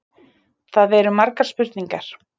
Það eru margar spurningar.